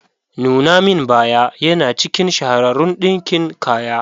Nuna min baya yana cikin shahararun ɗinkin kaya.